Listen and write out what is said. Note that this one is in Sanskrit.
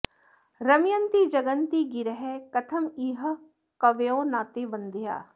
रमयन्ति जगन्ति गिरः कथमिह कवयो न ते वन्द्याः